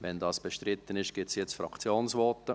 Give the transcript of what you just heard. Sofern das bestritten ist, gibt es jetzt Fraktionsvoten.